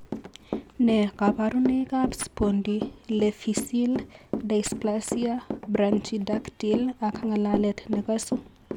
Nee kabarunoikab Spondyloepiphyseal dysplasia brachydactyly ak ng'alalet nekosu?